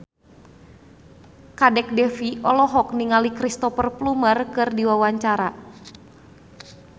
Kadek Devi olohok ningali Cristhoper Plumer keur diwawancara